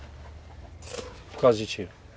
Por causa de tiro?